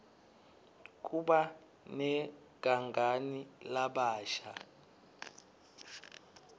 kuba negangani labasha